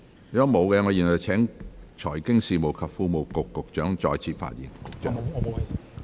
如果沒有，我現在請財經事務及庫務局局長再次發言。